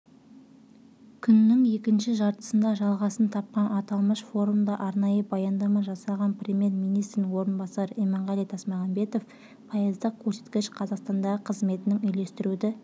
күннің екінші жартысында жалғасын тапқан аталмыш форумда арнайы баяндама жасаған премьер-министрдің орынбасары иманғали тасмағамбетов пайыздық көрсеткіш қазақстандағы қызметінің үйлестіруді